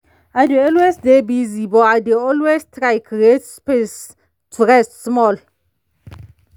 i dey always dy busy but i dey always try create space to rest small.